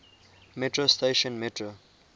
metro station metro